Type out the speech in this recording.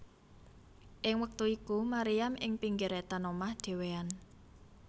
Ing wektu iku Maryam ing pinggir etan omahe dhewéan